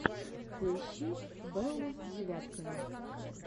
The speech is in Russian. поищи беллу девяткину